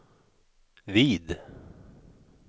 vid